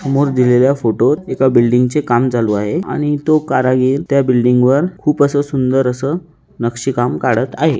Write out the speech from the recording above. समोर दिलेल्या फोटोत एका बिल्डिंग चे काम चालू आहे आणि तो कारागीर त्या बिल्डिंग वर खूप आस सुंदर आस नक्षी काम काडत आहे.